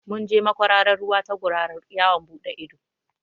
Mun je makwararar ruwa ta gurara yawon buɗe ido